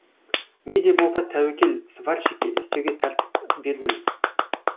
не де болса тәуекел сварщикке істеуге тәртіп бердім